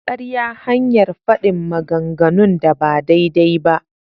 Ƙarya hanyar faɗin maganganun da ba daidai ba.